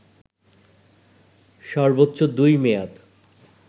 সর্বোচ্চ দুই মেয়াদ